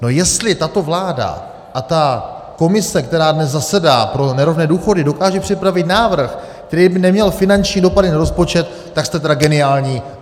No jestli tato vláda a ta komise, která dnes zasedá, pro nerovné důchody, dokáže připravit návrh, který by neměl finanční dopady na rozpočet, tak jste tedy geniální.